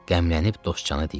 Qəmlənib dostcana deyirdi.